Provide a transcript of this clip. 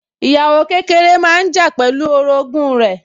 Ìyàwó kékeré máa ń jà pẹ̀lú orogún rẹ̀